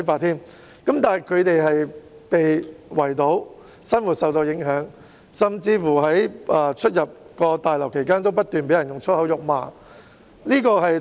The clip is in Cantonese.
然而，他們被圍堵，生活受到影響，甚至在出入大樓時不斷被人以粗言穢語辱罵。